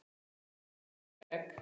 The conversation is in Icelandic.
Þar málum við líka egg.